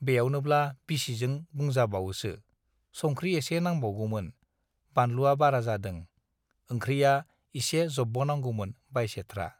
बेयावनोब्ला बिसिजों बुंजाबावोसो - संख्रि एसे नांबावगौमोन, बानलुवा बारा जादों, ओंख्रिया एसे जब्बावनांगौमोन बाइसेथ्रा।